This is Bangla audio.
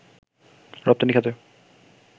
রপ্তানি খাতে